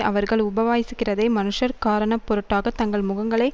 அவர்கள் உபவாசிக்கிறதை மனுஷர் காரணப்பொருட்டாக தங்கள் முகங்களை